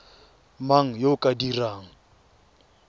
mang yo o ka dirang